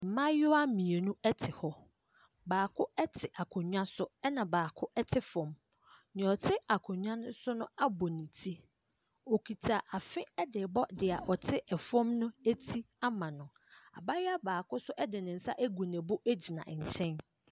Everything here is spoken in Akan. Mmaayewa mmienu te hɔ, baako te akonnwa so na baako te fam. Deɛ ɔte akonnwa no so abɔ ne ti, na okita afe de rebɔ deɛ ɔte fem no ti ama no. Abaayewa baako nso de ne nsa agu ne bo gyina nkyɛn.